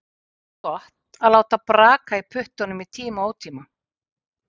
Ekki er talið gott að láta braka í puttunum í tíma og ótíma.